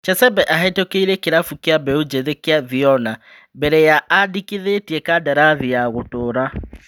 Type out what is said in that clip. Chesebe ahetũkĩire kĩrabu kĩa beũ njithi kĩa Viona mbere ya andĩkithĩtie kandarathi ya gũtũra.